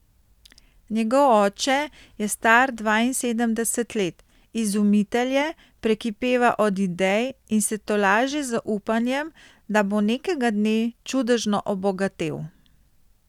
Njegov oče je star dvainsedemdeset let, izumitelj je, prekipeva od idej in se tolaži z upanjem, da bo nekega dne čudežno obogatel.